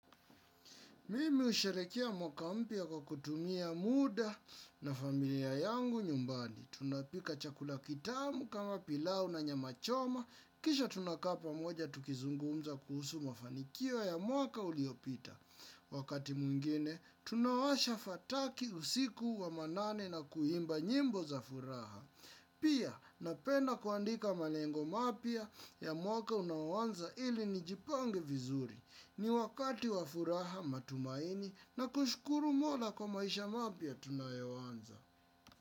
Mimi husherekea mwaka mpya kwa kutumia muda na familia yangu nyumbani. Tunapika chakula kitamu kama pilau na nyama choma. Kisha tunakaa pamoja tukizungumza kuhusu mafanikio ya mwaka uliopita. Wakati mwengine, tunawasha fataki usiku wa manane na kuimba nyimbo za furaha. Pia, napenda kuandika malengo mapya ya mwaka unaoanza ili nijipange vizuri. Ni wakati wa furaha matumaini na kushukuru mola kwa maisha mapya tunayoanza.